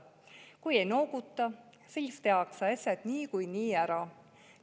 Kui ei nooguta, siis tehakse asjad niikuinii ära.